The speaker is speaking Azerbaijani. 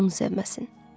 Tək onu sevməsin.